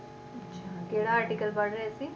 ਕਿਹੜਾ article ਪੜ੍ਹ ਰਹੇ ਸੀ?